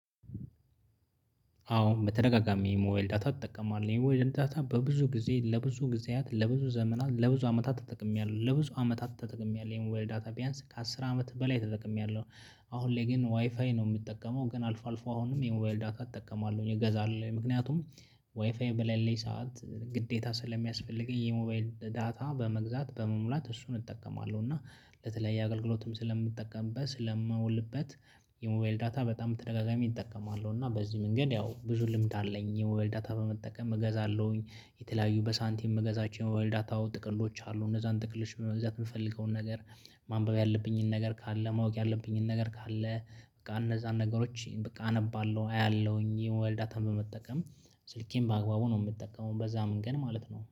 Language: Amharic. አዎ በተደጋጋሚ የሞባይል ዳታ እጠቀማለሁ የሞባይልን ዳታ በብዙ ጊዜ ለብዙ ጊዜያት ለብዙ ዘመናት ለብዙ አመታት ተጠቅሜያለሁ ለብዙ አመታት ተጠቅሜያለሁ የሞባይል ዳታ ቢያንስ ከአስር አመት በላይ ተጠቅሜያለሁ። አሁን ላይ ግን ዋይፋይ ነው የምጠቀመው ግን አልፎ አልፎ አሁንም የሞባይል ዳታ እጠቀማለሁኝ እገዛለሁኝ ምክንያቱም ዋይፋይ በለሌ ሰዓት ግዴታ ስለሚያስፈልገኝ የሞባይል ዳታ በመግዛት በመሙላት እሱን እጠቀማለሁ እና ለተለያየ አገልግሎትም ስለምጠቀምበት ስለማውልበት። የሞባይል ዳታ በጣም ተደጋጋሚ እጠቀማለሁ እና በዚህ መንገድ ያው ብዙ ልምድ አለኝ። የሞባይል ዳታ በመጠቀም እገዛለሁኝ የተለያዩ በሳንቲም የምገዛቸው የሞባይል ዳታ ጥቅሎች አሉ። እነዛን ጥቅሎች አሉ እነዛን ጥቅሎች በመግዛት የምፈልገውን ነገር። ማንበብ ያለብኝን ነገር ካለ ማወቅ ያለብኝን ነገር ካለ በቃ እነዛን ነገሮች በቃ አነባለሁ አያለሁኝ የሞባይል ዳታን በመጠቀም። ስልኬን በአግባቡ ነው የምጠቀመው በዛ መንገድ ማለት ነው